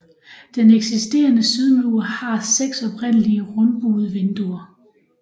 Den eksisterende sydmur har seks oprindelige rundebuede vinduer